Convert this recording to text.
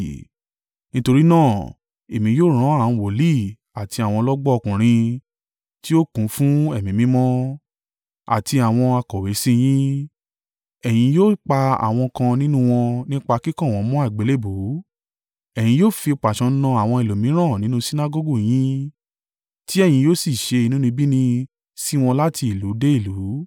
Nítorí náà èmi yóò rán àwọn wòlíì àti àwọn ọlọ́gbọ́n ọkùnrin tí ó kún fún ẹ̀mí mímọ́, àti àwọn akọ̀wé sí yín. Ẹ̀yin yóò pa àwọn kan nínú wọn nípa kíkàn wọ́n mọ́ àgbélébùú. Ẹ̀yin yóò fi pàṣán na àwọn ẹlòmíràn nínú Sinagọgu yín, tí ẹ̀yin yóò sì ṣe inúnibíni sí wọn láti ìlú dé ìlú.